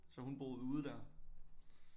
Så hun boede ude der